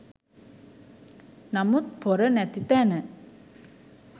නමුත් පොර නැති තැන